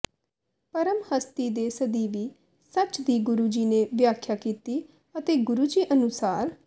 ਪਰਮ ਹਸਤੀ ਦੇ ਸਦੀਵੀ ਸਚ ਦੀ ਗੁਰੂ ਜੀ ਨੇ ਵਿਆਖਿਆ ਕੀਤੀ ਅਤੇ ਗੁਰੂ ਜੀ ਅਨੁਸਾਰ